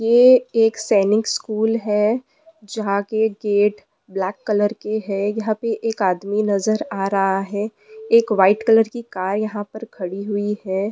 यह एक सैनिक स्कूल है जहां के गेट ब्लैक कलर के है यहां पर एक आदमी नजर आ रहा है। एक वाइट कलर की कार यहां पर खड़ी हुई है।